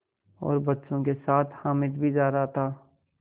और बच्चों के साथ हामिद भी जा रहा था